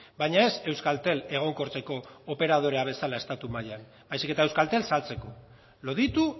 baina ez euskaltel egonkortzeko operadore bezala estatu mailan baizik eta euskaltel saltzeko loditu